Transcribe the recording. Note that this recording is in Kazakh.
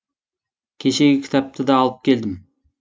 кешегі кітапты да алып келдім